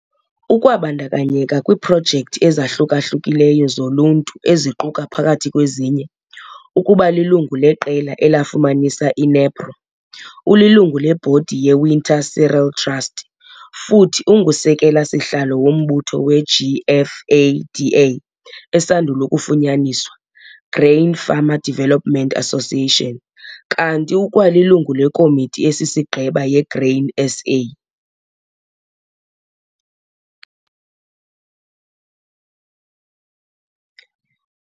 Ukwabandakanyeka kwiiprojekthi ezahluka-hlukileyo zoluntu eziquka phakathi kwezinye, ukuba lilungu leqela elafumanisa iNEPRO, ulilungu lebhodi yeWinter Cereal Trust, futhi ungusekela-sihlalo wombutho weGFADA esandul' ukufunyaniswa, Grain Farmer Development Association, kanti ukwalilungu lekomiti esisigqeba yeGrain SA.